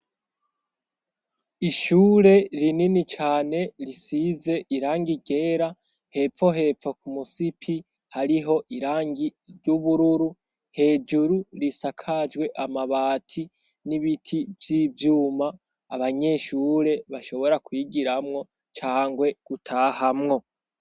Ishure rinini cane risize irangi ryera hepfo hepfo ku musipi hariho irangi ry'ubururu hejuru risakajwe amabati n'ibiti vyivyuma abanyeshure bashobora kwigiramwo cangwe gutahamwo.